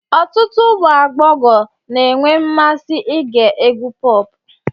Ọtụtụ ụmụ agbọghọ na-enwe mmasị ige egwú pọp